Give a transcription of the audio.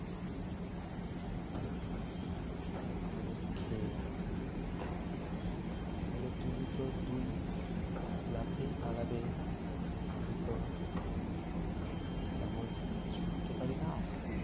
আমাদের খেয়ে ফলে তুমি তো দুই লাফেই পালাবে আমি তো তেমন ছুটতে পারি না আর